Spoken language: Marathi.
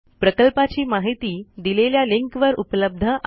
प्रकल्पाची माहिती दिलेल्या लिंकवर उपलब्ध आहे